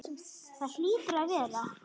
Það hlýtur að vera.